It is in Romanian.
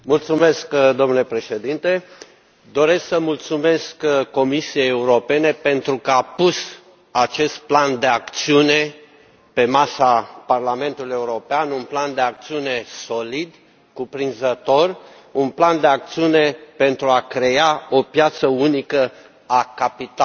Domnule președinte, doresc să mulțumesc Comisiei Europene pentru că a pus acest plan de acțiune pe masa Parlamentului European, un plan de acțiune solid, cuprinzător, un plan de acțiune pentru a crea o piață unică a capitalului.